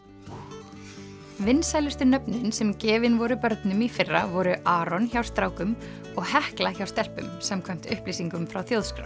vinsælustu nöfnin sem gefin voru börnum í fyrra voru Aron hjá strákum og Hekla hjá stelpum samkvæmt upplýsingum frá Þjóðskrá